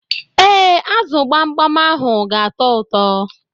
Ee, azu gbamgbam ahụ ga atọ ụtọ.